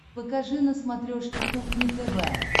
покажи на смотрешке кухня тв